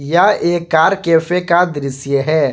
यह एक car cafe का दृश्य है।